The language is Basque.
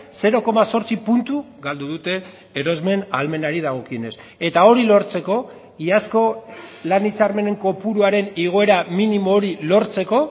zero koma zortzi puntu galdu dute erosmen ahalmenari dagokionez eta hori lortzeko iazko lan hitzarmenen kopuruaren igoera minimo hori lortzeko